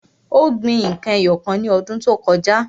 Ó gbin n kan ẹyọ kan lọ́dún tó kọjá.